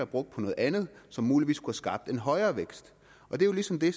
brugt på noget andet som muligvis kunne have skabt en højere vækst det er jo ligesom det